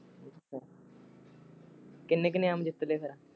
ਕਿੰਨੇ ਕ ਇਨਾਮ ਜਿਤ ਲਏ ਫੇਰ?